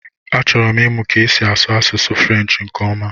Achọrọ m ịmụ ka esi asụ Asụsụ frenshi nke ọma